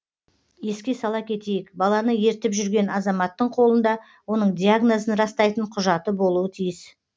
еске сала кетейік баланы ертіп жүрген азаматтың қолында оның диагнозын растайтын құжаты болуы тиіс